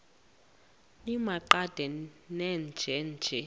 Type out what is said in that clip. nimaqe nenje nje